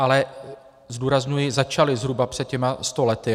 Ale zdůrazňuji, začaly zhruba před těmi sto lety.